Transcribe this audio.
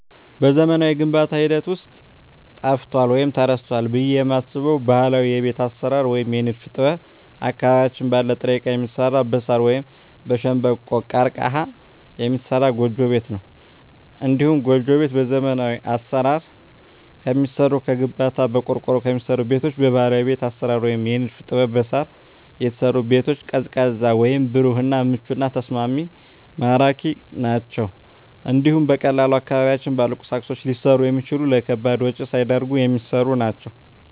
በዘመናዊው የግንባታ ሂደት ውስጥ ጠፍቷል ወይም ተረስቷል ብየ የማስበው ባህላዊ የቤት አሰራር ወይም የንድፍ ጥበብ አካባቢያችን ባለ ጥሬ እቃ የሚሰራ በሳር ወይም በሸንበቆ(ቀርቀሀ) የሚሰራ ጎጆ ቤት ነው። እንዲሁም ጎጆ ቤት በዘመናዊ አሰራር ከሚሰሩ ከግንባታ፣ በቆርቆሮ ከሚሰሩ ቤቶች በባህላዊ ቤት አሰራር ወይም የንድፍ ጥበብ በሳር የተሰሩ ቤቶች ቀዝቃዛ ወይም ብሩህ እና ምቹና ተስማሚ ማራኪ ናቸው እንዲሁም በቀላሉ አካባቢያችን ባሉ ቁሶች ሊሰሩ የሚችሉ ለከባድ ወጭ ሳይዳርጉ የሚሰሩ ናቸው።